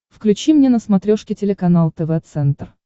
включи мне на смотрешке телеканал тв центр